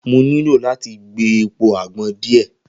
Mo nilo lati gbe epo agbon diẹ